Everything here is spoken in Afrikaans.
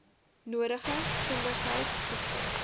nodige kundigheid beskik